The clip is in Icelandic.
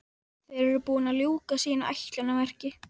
Þeir eru búnir að ljúka sínu ætlunarverki.